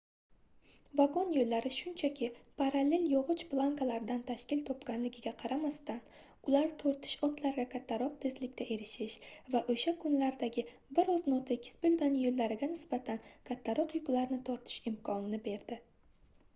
vagon yoʻllari shunchaki parallel yogʻoch plankalaridan tashkil topganligiga qaramasdan ular tortish otlarga kattaroq tezlikka erishish va oʻsha kunlardagi bir oz notekis boʻlgan yoʻllariga nisbatan kattaroq yuklarni tortish imkonini berdi